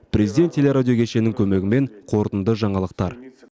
президент теле радио кешенің көмегімен қорытынды жаңалықтар